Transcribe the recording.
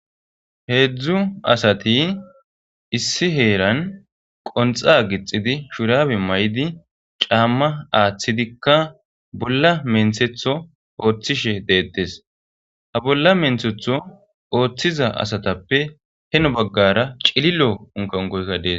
Heedzu asati issi heeran qonxa gixxidi shurabe mayidi caamma aathidika bolla menthetho ooththishe deeteees. Ha bolla menththetho oothiza asatappe heno baggara cililo unkaunkoyka dees.